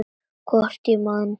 Hvort ég man.